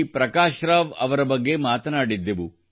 ಪ್ರಕಾಶ್ ರಾವ್ ಅವರ ಬಗ್ಗೆ ಮಾತನಾಡಿದ್ದೆವು